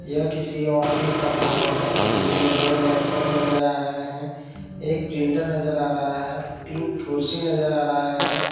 यह किसी ऑफिस का फोटो है जिसमें दो लैपटॉप नजर आ रहे हैं एक प्रिंटर नजर आ रहा है तीन कुर्सी नजर आ रहे हैं।